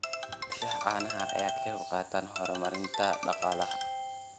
Dhaqashada caanaha ayaa ka qayb qaadata horumarinta dhaqaalaha.